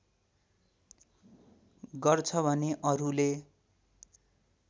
गर्छ भने अरूले